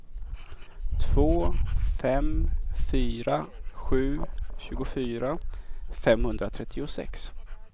två fem fyra sju tjugofyra femhundratrettiosex